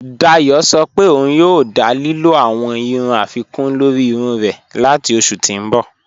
Dáyọ̀ sọ̀ pé ọun yòò dá lílò awọn irun afikun lórí irun rẹ̀ latí oṣù tí n bọ̀.